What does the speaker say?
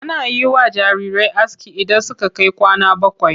Ana yi wa jarirai aski idan suka kai kwana bakwai.